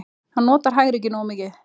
Hann notar hægri ekki nógu mikið.